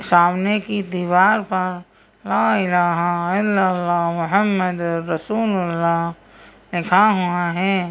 सामने की दीवार पर ला इलाहा इल अल्लाह मुहम्मद रसूल उल्लाह लिखा हुआ है।